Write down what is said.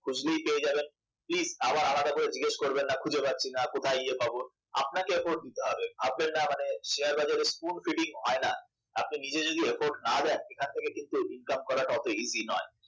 খুঁজলেই পেয়ে যাবেন please আবার আলাদা করে জিজ্ঞাসা করবেন না খুঁজে পাচ্ছিনা বা কোথায় গিয়ে পাবো আপনাকে effort দিতে হবে ভাববেন না মানে শেয়ার বাজারে spoon feeding হয় না আপনি নিজে যদি effort না দেন এখান থেকে কিন্তু income করাটা অত easy নয়